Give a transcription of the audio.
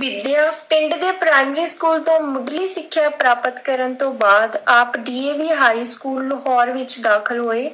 ਵਿੱਦਿਆ, ਪਿੰਡ ਦੇ ਪ੍ਰਾਇਮਰੀ school ਤੋਂ ਮੁੱਢਲੀ ਸਿੱਖਿਆ ਪ੍ਰਾਪਤ ਕਰਨ ਤੋਂ ਬਾਅਦ ਆਪ DAV high school ਲਾਹੌਰ ਵਿੱਚ ਦਾਖਿਲ ਹੋਏ,